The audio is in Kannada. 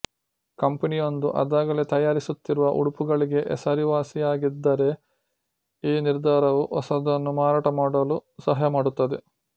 ಕಂಪನಿಯೊಂದು ಅದಾಗಲೇ ತಯಾರಿಸುತ್ತಿರುವ ಉಡುಪುಗಳಿಗೆ ಹೆಸರುವಾಸಿಯಾಗಿದ್ದರೆ ಈ ನಿರ್ಧಾರವು ಹೊಸದನ್ನು ಮಾರಾಟ ಮಾಡಲು ಸಹಾಯ ಮಾಡುತ್ತದೆ